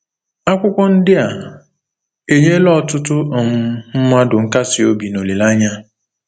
Akwụkwọ ndị a enyela ọtụtụ um mmadụ nkasiobi na olileanya.